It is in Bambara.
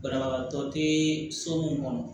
Banabagatɔ tɛ so mun kɔnɔ